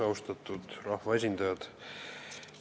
Austatud rahvaesindajad!